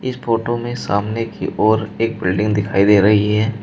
इस फोटो में सामने की ओर एक बिल्डिंग दिखाई दे रही है।